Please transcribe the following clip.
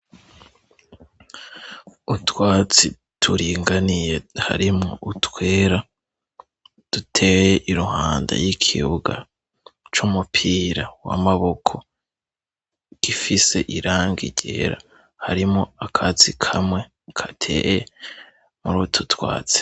Utwatsi turinganiye harimo utwera duteye iruhanda y'ikibuga c'umupira wamaboko gifise iranga ryera harimo akatsi kamwe ka teye muri utu twatsi.